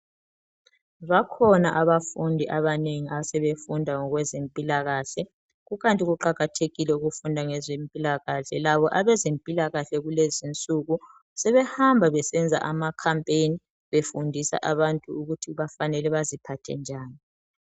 Bakhona abafundi abanengi abasebefunda ngokwezempilakahle. kukanti kuqakathekile ukufunda ngezempilakahle. Labo abezempilakahle kulezinsuku sebehamba besenza amacampain befundisa abantu ukuthi bafanele baziphathe njani.